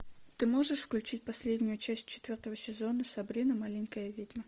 ты можешь включить последнюю часть четвертого сезона сабрина маленькая ведьма